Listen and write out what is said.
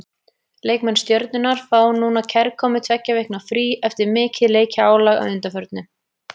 Leikmenn Stjörnunnar fá núna kærkomið tveggja vikna frí eftir mikið leikjaálag að undanförnu.